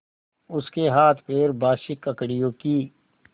उसके हाथपैर बासी ककड़ियों की